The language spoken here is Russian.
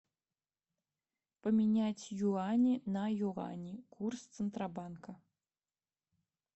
поменять юани на юани курс центробанка